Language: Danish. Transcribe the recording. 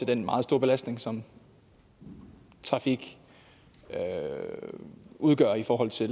den meget store belastning som trafik udgør i forhold til